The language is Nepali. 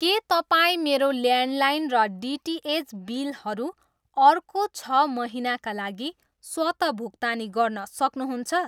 के तपाईँ मेरो ल्यान्डलाइन र डिटिएच बिलहरू अर्को छ महिनाका लागि स्वतः भुक्तानी गर्न सक्नुहुन्छ?